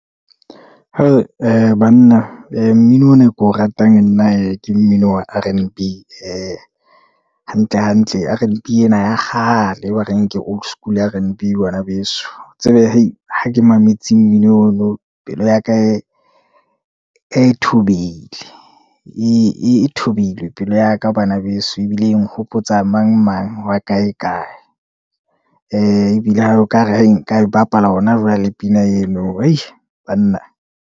Banna mmino ona e ko ratang nna hee ke mmino wa R_N_B, hantle hantle, R-N_B ena ya kgale, ba re ke old school R_N_B bana beso, tsebe ha ke mametse mmino ono, pelo ya ka e e thubehile, e, e thobile pelo yaka bana beso, ebile e nhopotsa mang, mang wa kae, kae. Ee ebile ha oka ra e nka e bapala hona jwale pina eno banna.